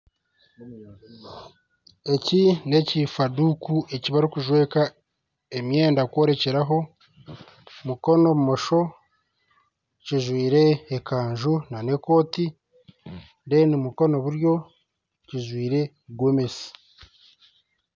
Eki nekifaduuku ekibarikuzweka emyenda kworekyeraho mukono bumosho kijwiire ekanju nana ekooti omukono gwa buryo kijwiire Gomesi